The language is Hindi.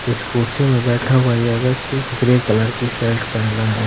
स्कूटी पर बैठा हुआ व्यक्ति ग्रे कलर की शर्ट पहनना हुआ है